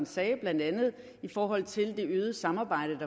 sagde blandt andet i forhold til det øgede samarbejde